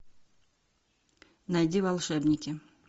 найди волшебники